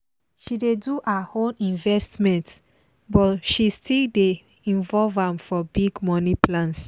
she dey do her own investment but she still dey involve am for big money plans